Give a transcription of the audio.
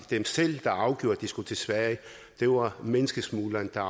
dem selv der afgjorde at de skulle til sverige det var menneskesmugleren der